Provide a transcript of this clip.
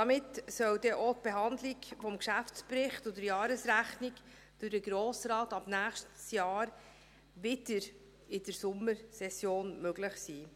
Damit soll denn auch die Behandlung des Geschäftsberichts und der Jahresrechnung durch den Grossen Rat ab dem nächsten Jahr wieder in der Sommersession möglich sein.